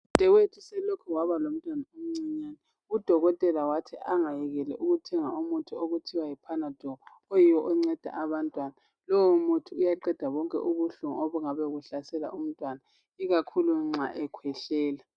Udadewethu selokhe waba lomntwana omncane, udokotela wathi angayekeli ukuthenga umuthi okuthiwa yi panadol oyiwo onceda abantwana. Lowo muthi uyaqeda bonke ubuhlungu obungabe buhlasela umntwana, ikakhulu nxa ekhwehlela.